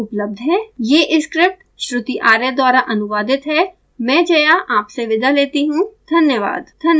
I I T Bombay से मैं श्रुति आर्य आपसे विदा लेती हूँ धन्यवाद